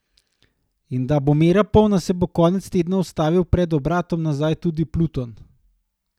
In da bo mera polna, se bo konec tedna ustavil pred obratom nazaj tudi Pluton.